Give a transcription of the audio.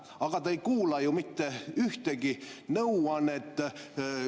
Aga te ei kuula ju mitte ühtegi nõuannet.